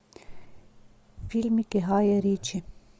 фильмики гая ричи